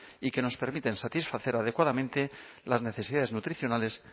y que nos permiten satisfacer adecuadamente las necesidades nutricionales